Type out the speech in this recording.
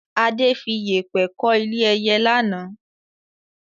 Adé fi Yépẹ́ kọ́ ilé ẹyẹ lánàá